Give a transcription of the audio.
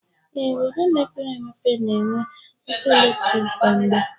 Ee, obodo mepere emepe na-enwe ọkụ eletrik kwa mgbe